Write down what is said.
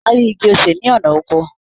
Màá rí igi osè ní ọ̀nà oko